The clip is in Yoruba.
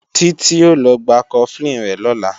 Títí ó lọ gba Cofflin rẹ̀ lọ́la